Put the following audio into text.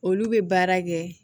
Olu bɛ baara kɛ